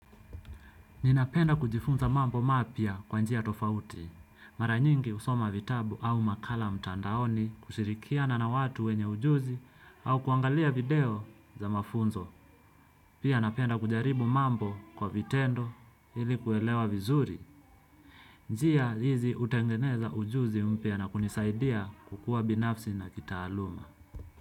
Ninapenda kujifunza mambo mapya kwa njia tofauti, mara nyingi husoma vitabu au makala mtandaoni kushirikiana na watu wenye ujuzi au kuangalia video za mafunzo. Pia napenda kujaribu mambo kwa vitendo ili kuelewa vizuri, njia hizi hutengeneza ujuzi mpya na kunisaidia kukua binafsi na kitaaluma.